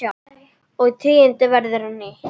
og tíðin verður ný.